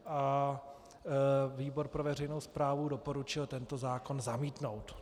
A výbor pro veřejnou správu doporučil tento zákon zamítnout.